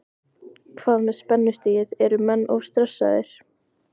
Hvað með spennustigið, eru menn of stressaðir?